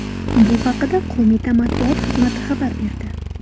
Bu haqda qo‘mita matbuot xizmat xabar berdi .